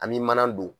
An bɛ mana don